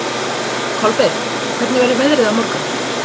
Kolbeinn, hvernig verður veðrið á morgun?